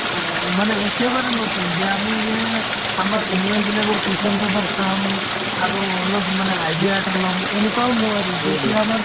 আ আ মানে একেবাৰে নতুন যে আমি যে আমাৰ senior বিলাকৰ question paper চাম আৰু অলপমানে idea এটা ল'ম এনেকুৱাও নোৱাৰি যেতিয়া আমাৰ